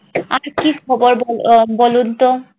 আচ্ছা কি খবর ব~ বলুনতো।